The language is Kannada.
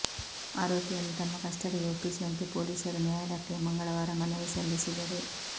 ಆರೋಪಿಯನ್ನು ತಮ್ಮ ಕಸ್ಟಡಿಗೆ ಒಪ್ಪಿಸುವಂತೆ ಪೊಲೀಸರು ನ್ಯಾಯಾಲಯಕ್ಕೆ ಮಂಗಳವಾರ ಮನವಿ ಸಲ್ಲಿಸಿದರು